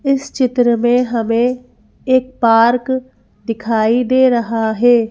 इस चित्र में हमें एक पार्क दिखाई दे रहा है।